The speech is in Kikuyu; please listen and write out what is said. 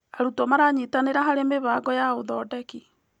Arutwo maranyitanĩra harĩ mĩbango ya ũthondeki.